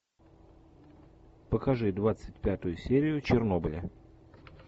покажи двадцать пятую серию чернобыля